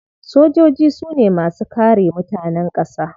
Sojoji su ne masu kare mutanen kasa.